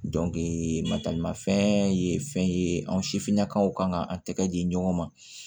matarama fɛn ye fɛn ye anw sifinnakaw kan k'an tɛgɛ di ɲɔgɔn ma